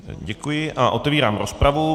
Děkuji a otevírám rozpravu.